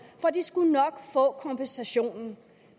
for de skulle nok få kompensationen